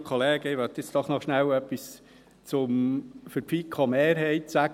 Ich möchte jetzt doch noch schnell etwas für die FiKo-Mehrheit sagen.